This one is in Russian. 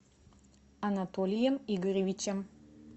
анатолием игоревичем